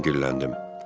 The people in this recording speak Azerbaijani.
Mən dilləndim.